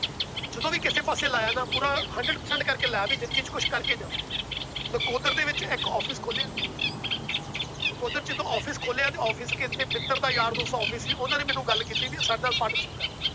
ਜਦੋਂ ਵੀ ਕਿਸੇ ਪਾਸੇ ਲਾਇਆ ਨਾ ਪੂਰਾ hundred percent ਕਰਕੇ ਲਾ ਵੀ ਜ਼ਿੰਦਗੀ ਚ ਕੁਛ ਕਰਕੇ ਜਾਵਾਂ, ਨਕੋਦਰ ਦੇ ਵਿੱਚ ਇੱਕ office ਖੋਲਿਆ ਨਕੋਦਰ ਜਦੋਂ office ਖੋਲਿਆ ਤੇ office ਕਿੱਥੇ ਮਿੱਤਰ ਦਾ ਯਾਰ ਦੋਸਤ ਦਾ office ਸੀ ਉਹਨਾਂ ਨੇ ਮੈਨੂੰ ਗੱਲ ਕੀਤੀ ਵੀ ਸਾਡੇ ਨਾਲ partnership ਕਰ